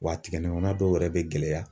Wa a tigɛ ɲɔgɔnna dɔw yɛrɛ bɛ gɛlɛya.